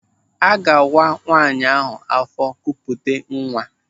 Aga-awa nwaanyị ahụ afọ kupute nwa?